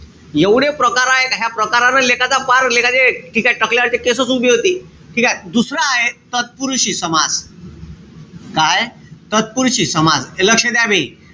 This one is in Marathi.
एवढे प्रकार हाये. का ह्या प्रकारानं लेकाचा पार, लेकाचे, ठीकेय? टाकल्याचे केसचं उभे होते. ठीकेय? दुसरं आहे, तत्पुरुषी समास. काय? तत्पुरुषी समास. हे लक्ष द्या बे.